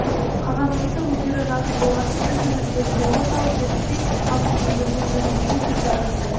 қағазымызды өздері жазып болатын сөзді өздері жолға салып берді деді павлов енді бұл жөніндегі сөзді аяқтай